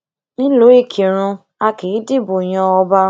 nílùú ìkírùn a kì í dìbò yan ọba